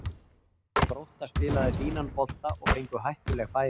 Grótta spilaði fínan bolta og fengu hættuleg færi.